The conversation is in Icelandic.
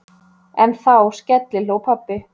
En þá skellihló pabbi.